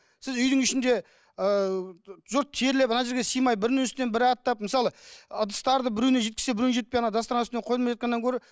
сіз үйдің үшінде ыыы жұрт терлеп ана жерге сыймай бірінің үстінен бірі аттап мысалы ыдыстарды біреуіне жеткізсе біреуіне жетпей ана дастархан үстіне қойылмай жатқаннан гөрі